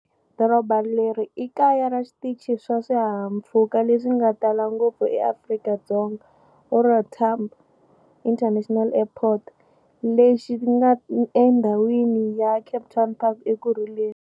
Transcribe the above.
Doroba leri i kaya ra xitichi xa swihahampfhuka leswi nga tala ngopfu eAfrika-Dzonga, OR Tambo International Airport, lexi nga endhawini ya Kempton Park eEkurhuleni.